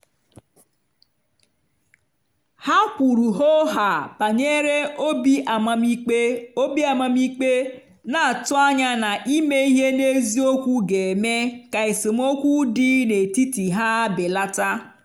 ha kwuru hoo haa banyere obi amamikpe obi amamikpe na-atụ anya na ime ihe n'eziokwu ga-eme ka esemokwu dị n'etiti ha belata.